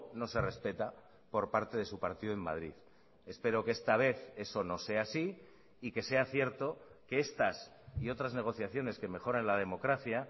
no se respeta por parte de su partido en madrid espero que esta vez eso no sea así y que sea cierto que estas y otras negociaciones que mejoran la democracia